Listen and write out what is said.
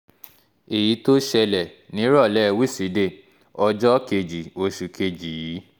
èyí tó ṣẹlẹ̀ nírọ̀lẹ́ wíṣídẹ̀ẹ́ ọjọ́ kejì oṣù kejì yìí